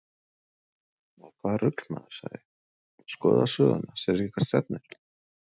Nei, hvaða rugl maður, sagði ég, skoðaðu söguna, sérðu ekki hvert stefnir?